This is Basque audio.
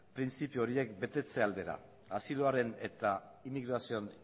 printzipio horiek betetze aldera asiloaren eta immigrazioaren